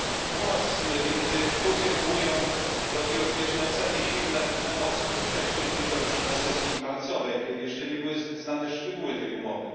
Umowa między Turcją a Unią rodzi rozbieżne oceny i silne emocje. Doświadczyliśmy tego już na sesji marcowej, kiedy jeszcze nie były znane szczegóły tej umowy.